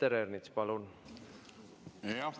Peeter Ernits, palun!